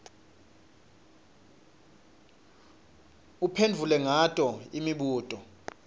uphendvule ngato imibuto